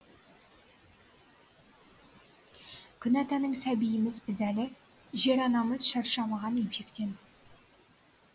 күн атаның сәбиіміз біз әлі жер анамыз шаршамаған емшектен